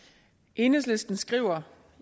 enhedslisten skriver